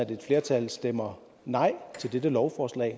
at et flertal stemmer nej til dette lovforslag